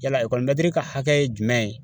Yala ekɔlimɛtiri ka hakɛ ye jumɛn ye